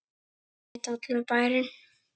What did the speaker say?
Og þetta veit allur bærinn?